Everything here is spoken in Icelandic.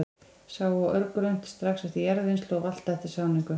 Sá á örgrunnt, strax eftir jarðvinnslu og valta eftir sáningu.